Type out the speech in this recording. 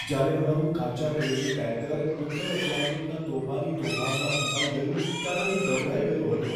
જ્યારે અમારું કાચા તેલનું ટેન્કર ઉત્તર એટલાન્ટિકના તોફાની તોફાનમાં ફસાઈ ગયું ત્યારે હું ગભરાઈ ગયો હતો.